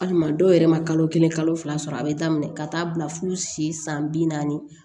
Hali maa dɔw yɛrɛ ma kalo kelen kalo fila sɔrɔ a bɛ daminɛ ka taa bila fo si san bi naani